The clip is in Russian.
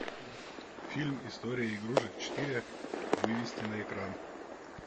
фильм история игрушек четыре вывести на экран